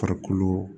Farikolo